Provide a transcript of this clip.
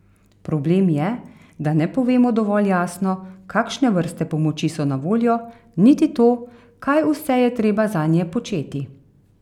Problem je, da ne povemo dovolj jasno, kakšne vrste pomoči so na voljo, niti to, kaj vse je treba zanje početi.